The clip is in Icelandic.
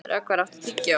Rögnvar, áttu tyggjó?